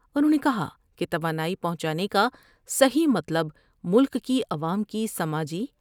انھوں نے کہا کہ توانائی پہونچانے کا صحیح مطلب ملک کی عوام کی سماجی